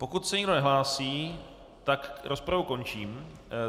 Pokud se nikdo nehlásí, tak rozpravu končím.